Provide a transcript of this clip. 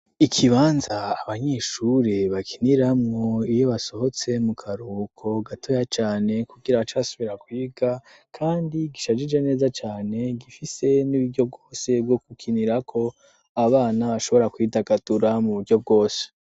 Ikibanza abanyeshure bakiniramwo iyo basohotse mu karuhuko gatoya cane kugira bace basubira kwiga kandi gishajije neza cane gifise n'uburyo bwose bwo gukinirako abana bashobora kwidagadura mu buryo bwose.